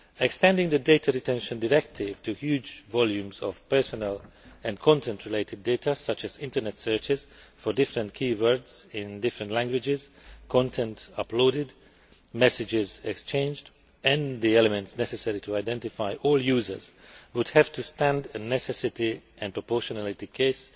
Extending the Data Retention Directive to huge volumes of personal and content related data such as Internet searches for different key words in different languages, content uploaded, messages exchanged and the elements necessary to identify all users would have to withstand a necessity and proportionality case